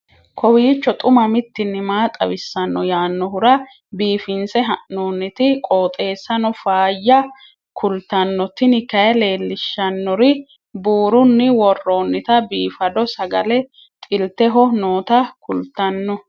kowiicho xuma mtini maa xawissanno yaannohura biifinse haa'noonniti qooxeessano faayya kultanno tini kayi leellishshannori buurunni worroonnita biifado sagale xilteho noota kultanno